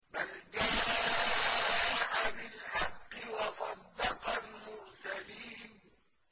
بَلْ جَاءَ بِالْحَقِّ وَصَدَّقَ الْمُرْسَلِينَ